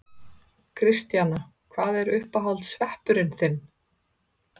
Kristjana: Hvað er uppáhalds sveppurinn þinn?